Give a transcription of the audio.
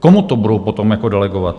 Komu to budou potom delegovat?